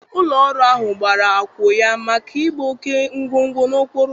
Ụlọ ọrụ ahụ gbara akwọ ya maka ịgba oke ngwangwa n'okporo ụzọ.